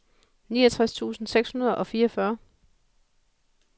niogtres tusind seks hundrede og fireogfyrre